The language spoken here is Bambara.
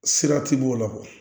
Sira ti b'o la